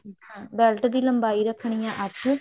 belt ਦੀ ਲੰਬਾਈ ਰੱਖਣੀ ਹੈ ਅੱਠ